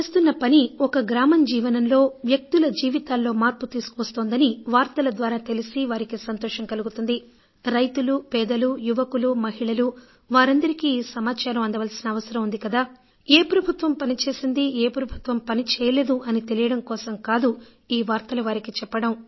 మనం చేస్తున్న పని ఒక గ్రామం జీవనంలో వ్యక్తుల జీవితాల్లో మార్పు తీసుకువస్తోందని వార్తల ద్వారా తెలిసి వారికి సంతోషం కలుగుతుంది రైతులు పేదలు యువకులు మహిళలు వారందరికీ ఈ సమాచారం అందవలసిన అవసరం ఉంది కదా ఏ ప్రభుత్వం పని చేసిందీ ఏ ప్రభుత్వం పని చేయలేదూ అని తెలియడం కోసం కాదు ఈ వార్తలు వారికి చెప్పడం